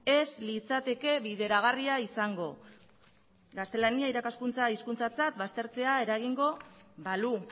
ez litzateke bideragarria izango gaztelania irakaskuntza hizkuntzatzat baztertzea eragingo balu